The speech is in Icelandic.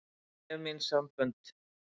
Ég hef mín sambönd.